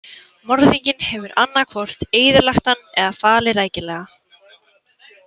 Morðinginn hefur annað hvort eyðilagt hann eða falið rækilega.